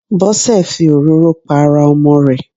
Bósè fi òróró pa ara Ọmọ rè